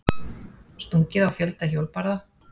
Stungið á fjölda hjólbarða